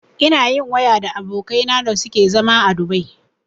Ina yin waya da abokanai na da suke a zama Dubai